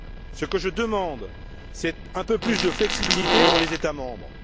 Ce que je demande, c'est un peu plus de flexibilité pour les États membres.